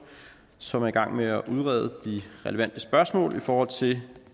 som er i gang med at udrede de relevante spørgsmål i forhold til